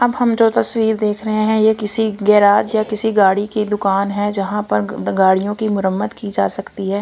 अब हम जो तस्वीर देख रहे हैं ये किसी गैराज या किसी गाड़ी की दुकान है जहां पर गंद गाड़ियों की मरम्मत की जा सकती है।